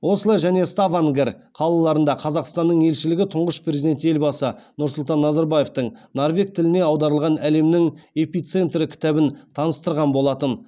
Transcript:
осло және ставангер қалаларында қазақстанның елшілігі тұңғыш президент елбасы нұрсұлтан назарбаевтың норвег тіліне аударылған әлемнің эпицентрі кітабын таныстырған болатын